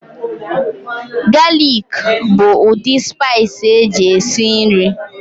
Galik bụ ụdị spaiis eji esi nri.